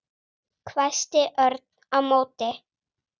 hvæsti Örn á móti.